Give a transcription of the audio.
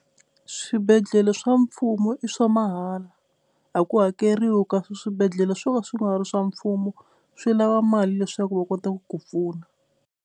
Swibedhlele swa mfumo i swa mahala a ku hakeriwa kasi swibedhlele swo ka swi nga ri swa mfumo swi lava mali leswaku va kota ku ku pfuna.